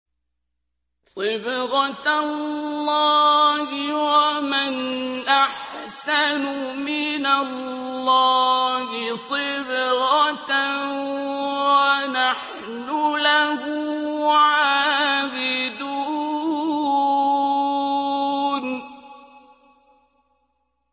صِبْغَةَ اللَّهِ ۖ وَمَنْ أَحْسَنُ مِنَ اللَّهِ صِبْغَةً ۖ وَنَحْنُ لَهُ عَابِدُونَ